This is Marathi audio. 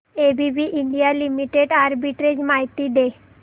एबीबी इंडिया लिमिटेड आर्बिट्रेज माहिती दे